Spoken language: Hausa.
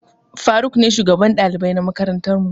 Faruk ne shugaban ɗalibai na makarantar mu.